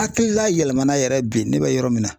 Hakilila yɛlɛmana yɛrɛ bi ne bɛ yɔrɔ min na